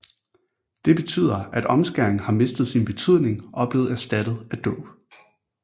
Det betyder at omskæring har mistet sin betydning og er blevet erstattet af dåb